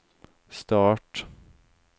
start